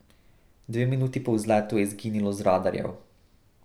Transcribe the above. Dve minuti po vzletu je izginilo z radarjev.